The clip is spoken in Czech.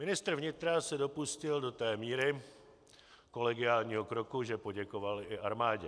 Ministr vnitra se dopustil do té míry kolegiálního kroku, že poděkoval i armádě.